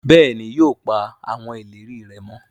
béèni yóò pa awọn ìlérí rẹ mọ.